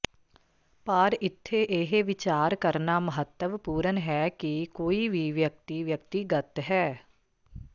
ਪਰ ਇੱਥੇ ਇਹ ਵਿਚਾਰ ਕਰਨਾ ਮਹੱਤਵਪੂਰਣ ਹੈ ਕਿ ਕੋਈ ਵੀ ਵਿਅਕਤੀ ਵਿਅਕਤੀਗਤ ਹੈ